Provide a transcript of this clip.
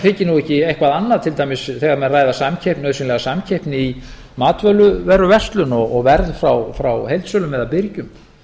þyki nú ekki eitthvað annað til dæmis þegar menn ræða augsýnilega samkeppni í matvöruverslun og verð frá heildsölum eða birgjum